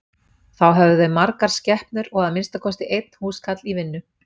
Þá höfðu þau margar skepnur og að minnsta kosti einn húskarl í vinnu.